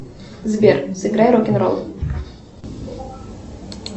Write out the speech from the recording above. сбер сыграй рок н ролл